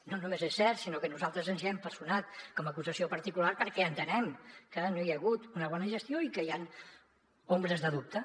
no només és cert sinó que nosaltres ens hi hem personat com a acusació particular perquè entenem que no hi ha hagut una bona gestió i que hi han ombres de dubte